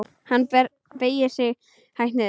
Hann beygir sig hægt niður.